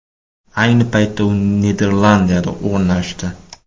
Ayni paytda u Niderlandiyada o‘rnashdi .